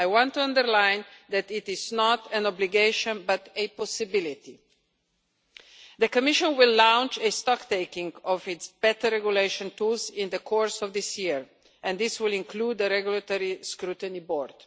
I want to underline that it is not an obligation, but a possibility. The Commission will launch a stocktaking of its better regulation tools in the course of this year, and this will include the regulatory scrutiny board.